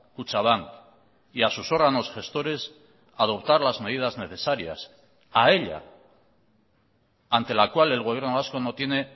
kutxabank y a sus órganos gestores adoptar las medidas necesarias a ella ante la cual el gobierno vasco no tiene